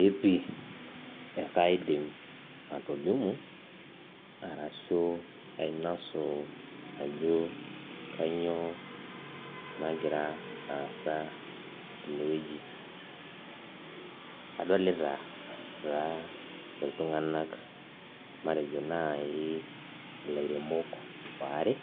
Epi enkaedim atolimu arashu ainosu ajo kainyioo nagira aasa tenewueji adolita taa iltunganak matejo nai ilairemok waare